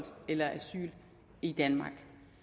i danmark